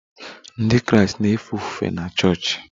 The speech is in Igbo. Ndị Kraịst na-efe ofufe na chọọchị